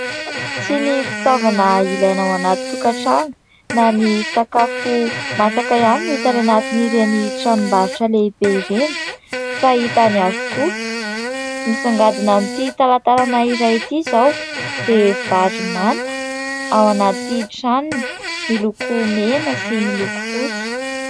Tsy ny fitaovana ilaina ao anaty tokatrano na ny sakafo masaka ihany no hita any anatin'ireny tranom-barotra lehibe ireny fa hita any avokoa. Misongadina amin'ity talantarana iray ity izao dia vary manta ao anaty tranony miloko mena sy miloko fotsy.